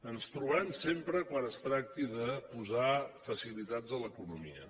ens trobaran sempre quan es tracti de posar facilitats a l’economia